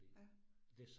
Ja